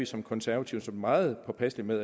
som konservative meget påpasselige med